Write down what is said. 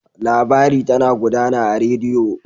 Labari tana gudana a rediyo.